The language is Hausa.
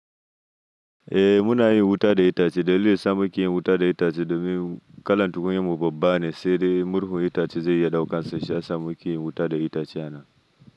Eh muna yin wuta da itace, da littafi samun ke yin wuta da itace domin kalan tukunya mu babba ne, sai dai murhun itace zai yi ya ɗauka sai sha samun ke yin wuta da itace yana.